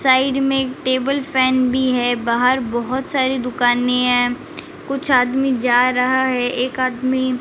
side में एक table fan भी है बाहर बहुत सारी दुकानें हैं कुछ आदमी जा रहा है एक आदमी --